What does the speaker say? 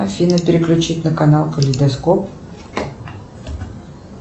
афина переключить на канал калейдоскоп